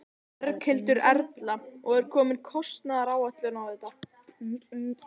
Berghildur Erla: Og er komin kostnaðaráætlun á þetta?